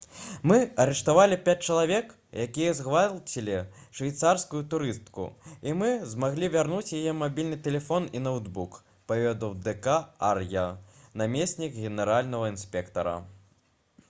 «мы арыштавалі пяць чалавек якія згвалцілі швейцарскую турыстку і мы змаглі вярнуць яе мабільны тэлефон і ноўтбук» — паведаміў д. к. ар'я намеснік генеральнага інспектара